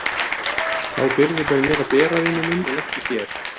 Þá byrði ber mér að bera vinur minn en ekki þér.